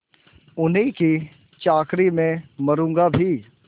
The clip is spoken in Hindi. उन्हीं की चाकरी में मरुँगा भी